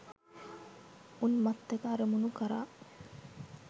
උන්මත්තක අරමුණු කරා